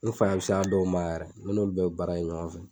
N faaya bi s'a dɔw ma yɛrɛ, ne n'olu bɛɛ bi baara kɛ ɲɔgɔn fɛ